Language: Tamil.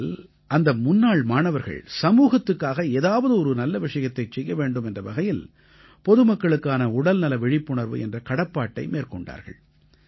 இதில் அந்த முன்னாள் மாணவர்கள் சமூகத்துக்காக ஏதாவது ஒரு நல்ல விஷயத்தைச் செய்ய வேண்டும் என்ற வகையில் பொதுமக்களுக்கான உடல்நல விழிப்புணர்வு என்ற கடப்பாட்டை மேற்கொண்டார்கள்